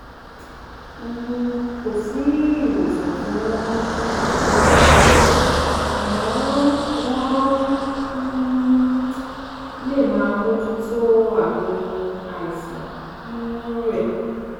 um Kò sí ìwòsàn fún Kertoderma àmọ́ wọ́n um lè máa mójútó àmì àìsàn um rẹ̀